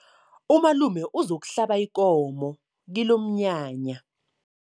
Umalume uzokuhlaba ikomo kilomnyanya.